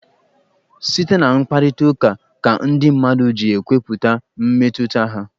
Site na mkparịta ụka ka ndị mmadụ ji ekwupụta mmetụta ha.